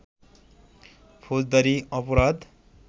ফৌজদারী অপরাধ